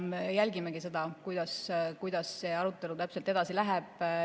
Me jälgimegi seda, kuidas see arutelu täpselt edasi läheb.